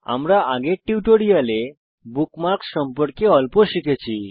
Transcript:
আমরা আগের টিউটোরিয়ালে বুকমার্কস সম্পর্কে অল্প শিখেছি